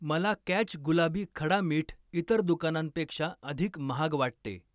मला कॅच गुलाबी खडा मीठ इतर दुकानांपेक्षा अधिक महाग वाटते.